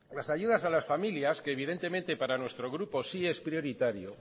las ayudas a las familias que evidentemente para nuestro grupo sí es prioritario